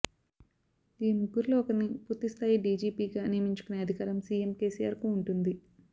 ఈ ముగ్గురిలో ఒకరిని పూర్తి స్థాయి డీజీపీగా నియమించుకునే అధికారం సీఎం కేసీఆర్కు ఉంటుంది